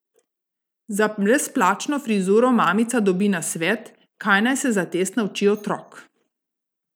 Za brezplačno frizuro mamica dobi nasvet, kaj naj se za test nauči otrok ...